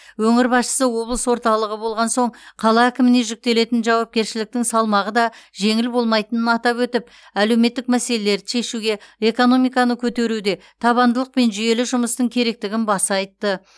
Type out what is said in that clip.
өңір басшысы облыс орталығы болған соң қала әкіміне жүктелетін жауапкершіліктің салмағы да жеңіл болмайтынын атап өтіп әлеуметтік мәселелерді шешуге экономиканы көтеруде табандылық пен жүйелі жұмыстың керектігін баса айтты